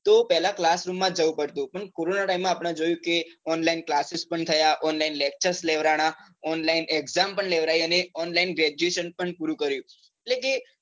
તો પહેલા classroom માં જ જવું પડતું પણ કોરોના time માં આપને જોયું કે